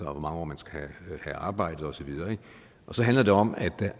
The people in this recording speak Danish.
og hvor mange år man skal have arbejdet og så videre og så handler det om